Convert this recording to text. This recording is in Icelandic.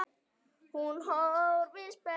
Hún horfir spennt á.